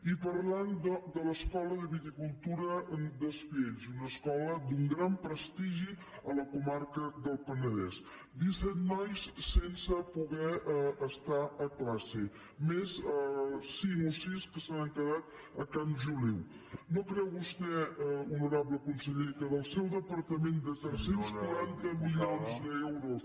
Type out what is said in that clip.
i parlant de l’escola de viticultura d’espiells una escola d’un gran prestigi a la comarca del penedès disset nois sense poder estar a classe més cinc o sis que s’han quedat a camp joliu no creu vostè honorable conseller que del seu departament de tres cents i quaranta milions d’euros